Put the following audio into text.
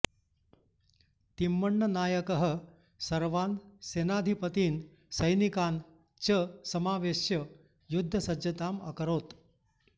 तिम्मण्णनायकः सर्वान् सेनाधिपतीन् सैनिकान् च समावेश्य युद्धसज्जताम् अकरोत्